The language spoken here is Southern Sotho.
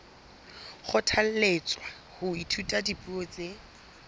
kgothalletswa ho ithuta dipuo tse